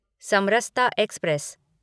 Samarsata express